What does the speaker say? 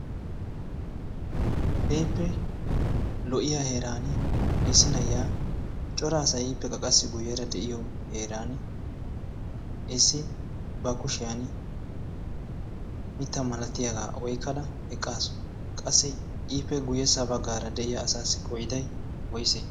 kehippe lo'iya heeran isi na'iya coraasai hiippeqa qassi guyyeera de'iyo heeran issi ba kushiyan mitta malatiyaagaa oykkada eqqaasu qassi iifee guyyessa baggaara de'iya asaassi qoiday woysee?